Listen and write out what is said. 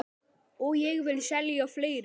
Og ég vil selja fleira.